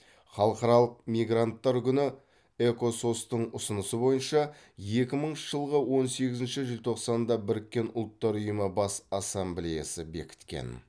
халықаралық мигранттар күні экосос тың ұсынысы бойынша екі мыңыншы жылғы он сегізінші желтоқсанда біріккен ұлттар ұйымы бас ассамблеясы бекіткен